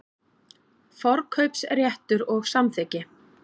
Forkaupsréttur og samþykki.